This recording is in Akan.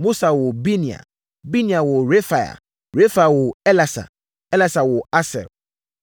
Mosa woo Binea. Binea woo Refaia. Refaia woo Elasa. Elasa woo Asel.